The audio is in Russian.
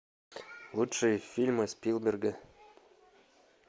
лучшие фильмы спилберга